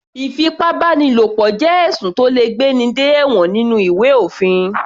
Ìfipábánilo jẹ́ ẹ̀sùn tó le gbé ní dé ẹ̀wọ̀n nínú ìwé òfin.